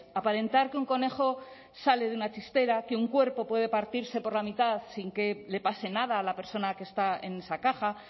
aparentar que un conejo sale de una chistera que un cuerpo puede partirse por la mitad sin que le pase nada a la persona que está en esa caja